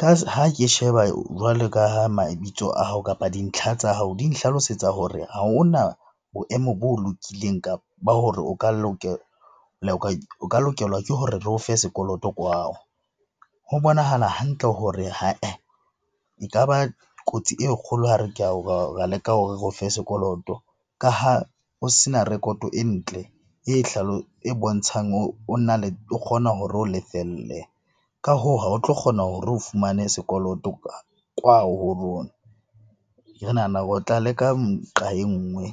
Ka ha ke sheba jwale ka ha mabitso a hao kapa dintlha tsa hao di nhlalosetsa hore ha hona boemo bo lokileng ba hore o ka lokelwa ke hore re ofe sekoloto . Ho bonahala hantle hore , e ka ba kotsi e kgolo ra leka hore re ofe sekoloto ka ha o se na rekoto e ntle e e bontshang o kgona hore o lefelle. Ka hoo ha o tlo kgona hore o fumane sekoloto kwao ho rona. Re nahana o tla leka nqa e nngwe.